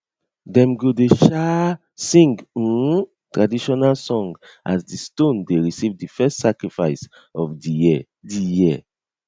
dem go dey um sing um traditional song as di stone dey receive di first sacrifice of di year di year